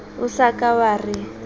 o sa ka wa re